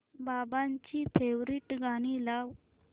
बाबांची फेवरिट गाणी लाव